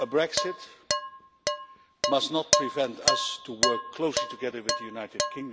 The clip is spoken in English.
Brexit must not prevent us from working closely together with the United Kingdom in security matters.